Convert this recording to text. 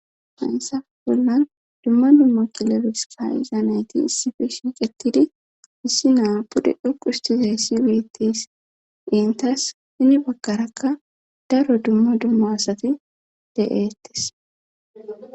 haynsaf bollan dumma dummo kilebis ka izaanayti isifi shiiqetidi issi naa pude dhoquhustizayssi weettes intas hini bagkarakka daro dumma dumma asati de7eettes